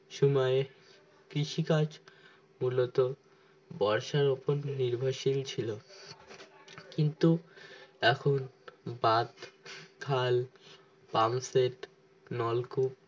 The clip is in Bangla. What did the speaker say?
সময় কৃষি কাজ মূলত বর্ষার উপর নির্ভরশীল ছিল কিন্তু এখন বাদ খাল pump set নলকূপ